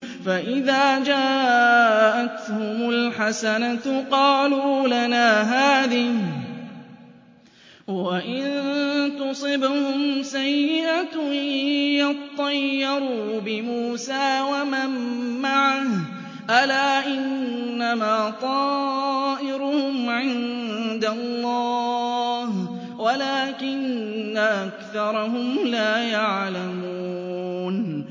فَإِذَا جَاءَتْهُمُ الْحَسَنَةُ قَالُوا لَنَا هَٰذِهِ ۖ وَإِن تُصِبْهُمْ سَيِّئَةٌ يَطَّيَّرُوا بِمُوسَىٰ وَمَن مَّعَهُ ۗ أَلَا إِنَّمَا طَائِرُهُمْ عِندَ اللَّهِ وَلَٰكِنَّ أَكْثَرَهُمْ لَا يَعْلَمُونَ